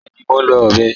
Bẹẹ̀ni, mó nlọ̀ ọbẹ